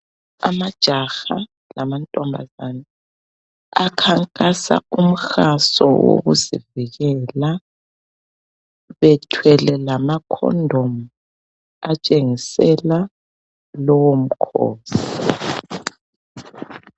Amajaha lamantombazane akhankasa umhaso wokuzivikela bethwele lama condom atshengisela lowomkhosi.